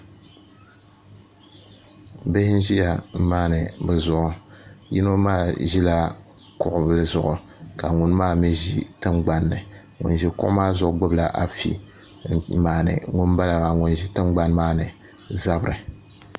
Bihi n ʒiya n maandi bi zuɣu yino maa ʒila kuɣuli zuɣu ka ŋun maa mii ʒi tingbanni ŋun ʒi kuɣu maa zuɣu gbubila afi n maandi ŋun ʒi tingbani maa ni zabiri